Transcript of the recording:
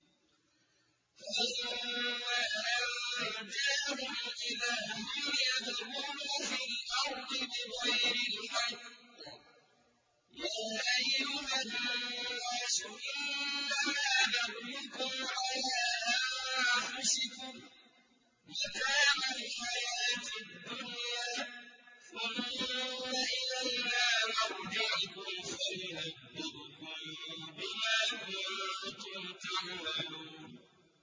فَلَمَّا أَنجَاهُمْ إِذَا هُمْ يَبْغُونَ فِي الْأَرْضِ بِغَيْرِ الْحَقِّ ۗ يَا أَيُّهَا النَّاسُ إِنَّمَا بَغْيُكُمْ عَلَىٰ أَنفُسِكُم ۖ مَّتَاعَ الْحَيَاةِ الدُّنْيَا ۖ ثُمَّ إِلَيْنَا مَرْجِعُكُمْ فَنُنَبِّئُكُم بِمَا كُنتُمْ تَعْمَلُونَ